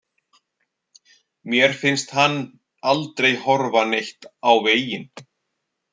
Mér finnst hann aldrei horfa neitt á veginn.